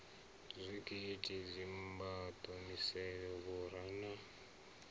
zwigidi dzimbado misevhe vhura na